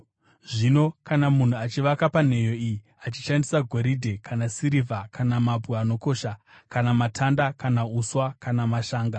Zvino kana munhu achivaka panheyo iyi achishandisa goridhe, kana sirivha kana mabwe anokosha, kana matanda, kana uswa, kana mashanga,